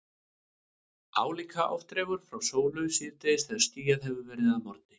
Álíka oft dregur frá sólu síðdegis þegar skýjað hefur verið að morgni.